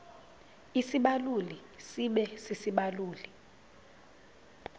isibaluli sibe sisibaluli